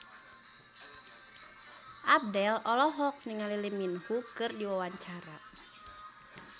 Abdel olohok ningali Lee Min Ho keur diwawancara